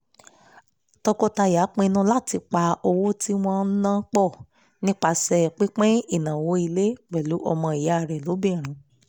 tọkọtaya pinnu láti pa owó tí wọ́n ń ná pọ̀ nípasẹ̀ pípín ìnáwó ilé pẹ̀lú ọmọ ìyá rẹ̀ lóbìnrin